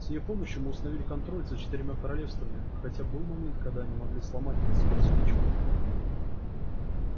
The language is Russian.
с её помощью мы установили контроль за четырьмя королевствами хотя был момент когда они могли сломать нас как спичку